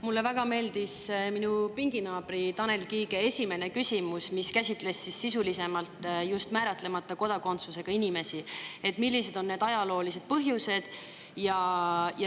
Mulle väga meeldis minu pinginaabri Tanel Kiige esimene küsimus, mis käsitles sisulisemalt just määratlemata kodakondsusega inimesi ja seda, millised on need ajaloolised põhjused.